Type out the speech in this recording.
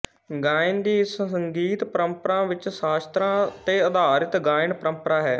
ਗਾਇਨ ਦੀ ਇਸ ਸੰਗੀਤ ਪਰੰਪਰਾ ਵਿੱਚ ਸ਼ਾਸਤਰਾਂ ਤੇ ਅਧਾਰਿਤ ਗਾਇਨ ਪਰੰਪਰਾ ਹੈ